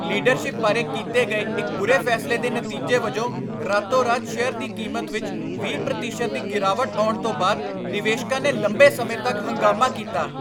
leadership ਬਾਰੇ ਕੀਤੇ ਗਏ ਇੱਕ ਬੁਰੇ ਫ਼ੈਸਲੇ ਦੇ ਨਤੀਜੇ ਵਜੋਂ ਰਾਤੋ ਰਾਤ ਸ਼ੇਅਰ ਦੀ ਕੀਮਤ ਵਿੱਚ ਵੀਹ ਪ੍ਰਤੀਸ਼ਤ ਦੀ ਗਿਰਾਵਟ ਆਉਣ ਤੋਂ ਬਾਅਦ ਨਿਵੇਸ਼ਕਾਂ ਨੇ ਲੰਬੇ ਸਮੇਂ ਤੱਕ ਹੰਗਾਮਾ ਕੀਤਾ